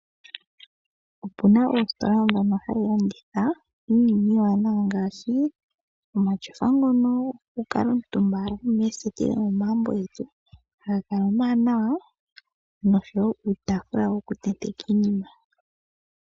Opuna oositola ndhono hadhi landitha iinima iiwanawa ngaashi omatyofa ngono goku kala omutumba moseti dhomo magumbo getu haga kala omawanawa nuutafula woku tenteka iinima.